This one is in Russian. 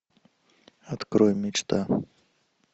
открой мечта